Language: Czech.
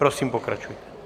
Prosím, pokračujte.